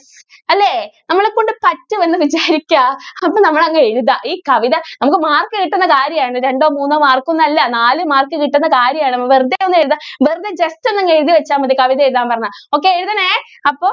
അല്ലേ? നമ്മളെ കൊണ്ട് പറ്റും എന്ന് വിചാരിക്കുക എന്നിട്ട് നമ്മൾ അങ്ങ് എഴുതുക ഈ കവിത നമുക്ക് mark കിട്ടുന്ന കാര്യം ആണ് രണ്ടോ മൂന്നോ mark ഒന്നും അല്ല നാലു mark കിട്ടുന്ന കാര്യം ആണ് അപ്പൊ വെറുതെ ഒന്ന് എഴുതുക വെറുതെ just അങ്ങ് എഴുതി വെച്ചാൽ മതി കവിത എഴുതാൻ പറഞ്ഞാൽ. okay എഴുതണെ അപ്പോ